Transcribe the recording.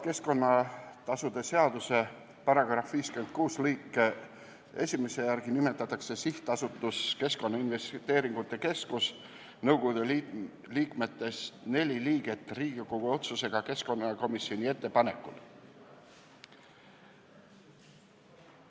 Keskkonnatasude seaduse § 56 lõike 1 järgi nimetatakse SA Keskkonnainvesteeringute Keskus nõukogu liikmetest neli Riigikogu otsusega keskkonnakomisjoni ettepanekul.